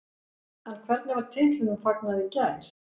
En hvernig var titlinum fagnað í gær?